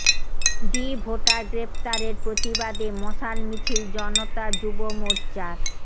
D voter গ্রেফতারের প্রতিবাদে মশাল মিছিল জনতা যুব মোর্চার